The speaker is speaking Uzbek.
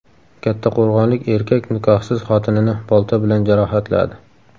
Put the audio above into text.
Kattaqo‘rg‘onlik erkak nikohsiz xotinini bolta bilan jarohatladi.